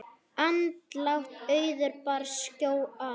Andlát Auðar bar skjótt að.